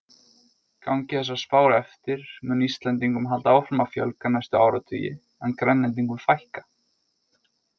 Gangi þessar spár eftir mun Íslendingum halda áfram að fjölga næstu áratugi en Grænlendingum fækka.